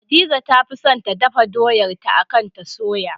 Hadiza ta fi son ta dafa doyar ta akan ta soya